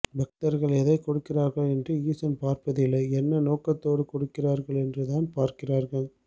பக்தர்கள் எதைக் கொடுக்கிறார்கள் என்று ஈசன் பார்ப்பதில்லை என்ன நோக்கத்தோடு கொடுக்கிறார்கள் என்றுதான் பார்க்கிறார்கள்